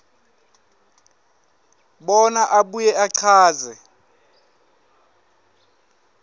bona abuye achaze